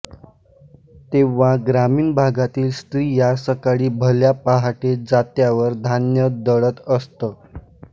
तेंव्हा ग्रामीण भागातील स्त्रिया सकाळी भल्या पाहटे जात्यावर धान्य दळत असत